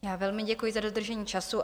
Já velmi děkuji za dodržení času.